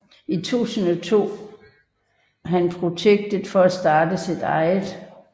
I 2002 han projektet for at starte sit eget